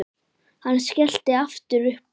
Hann skellti aftur upp úr.